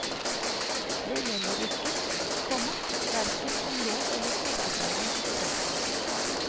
Den gjelder ikke, komma hverken som lov eller forarbeide. punktum